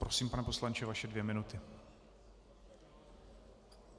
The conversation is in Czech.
Prosím, pane poslanče, vaše dvě minuty.